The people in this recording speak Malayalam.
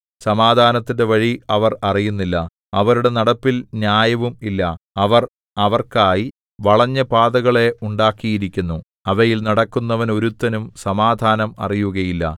സമാധാനത്തിന്റെ വഴി അവർ അറിയുന്നില്ല അവരുടെ നടപ്പിൽ ന്യായവും ഇല്ല അവർ അവർക്കായി വളഞ്ഞ പാതകളെ ഉണ്ടാക്കിയിരിക്കുന്നു അവയിൽ നടക്കുന്നവനൊരുത്തനും സമാധാനം അറിയുകയില്ല